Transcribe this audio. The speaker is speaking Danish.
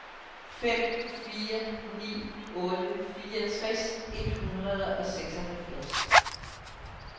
fem fire ni otte fireogtres et hundrede og seksoghalvfjerds